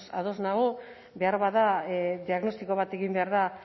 ados nago beharbada diagnostiko bat egin behar da